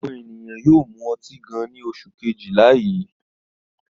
Àwọn ènìyàn yóò mú ọtí gan-an ní oṣù kejìlá yìí.